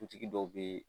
Dutigi dɔw bee